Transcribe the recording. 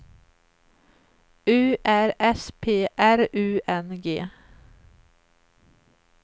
U R S P R U N G